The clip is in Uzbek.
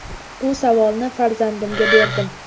Bu savolni farzandlarimga berdim.